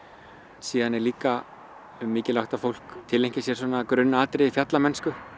síðan er líka mikilvægt að fólk tileinki sér svona grunnatriði fjallamennsku